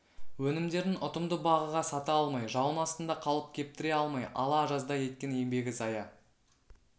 өнімдерін ұтымды бағаға сата алмай жауын астында қалып кептіре алмай ала жаздай еткен еңбегі зая